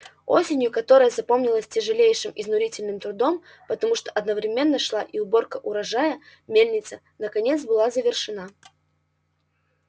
осенью которая запомнилась тяжелейшим изнурительным трудом потому что одновременно шла и уборка урожая мельница наконец была завершена